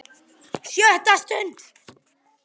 SJÖTTA STUND